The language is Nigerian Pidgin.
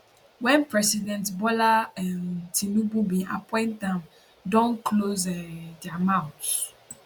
wen president bola um tinubu bin appoint am don close um dia mouths